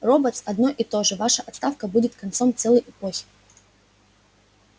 роботс одно и то же ваша отставка будет концом целой эпохи